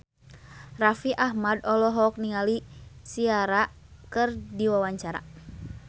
Raffi Ahmad olohok ningali Ciara keur diwawancara